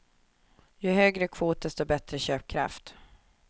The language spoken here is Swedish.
Ju högre kvot, desto bättre köpkraft.